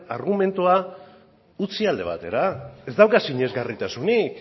argumentua utzi alde batera ez dauka sinesgarritasunik